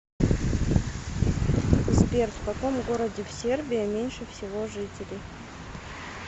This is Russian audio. сбер в каком городе в сербия меньше всего жителей